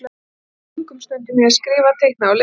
Einnig eyddi ég löngum stundum í að skrifa, teikna og lesa.